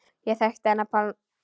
Ég þekkti hann Pálma.